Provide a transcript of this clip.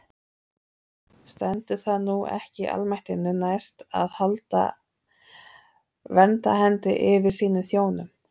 Stendur það nú ekki almættinu næst að halda verndarhendi yfir sínum þjónum?